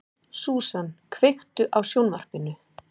Susan, kveiktu á sjónvarpinu.